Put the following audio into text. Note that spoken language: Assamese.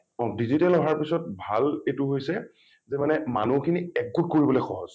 digital আহাৰ পিছত ভাল এইটো হৈছে যে মানে মানুহখিনি একগোট কৰিবলৈ সহজ ।